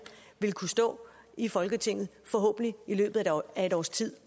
vil kunne stå i folketinget forhåbentlig i løbet af et års tid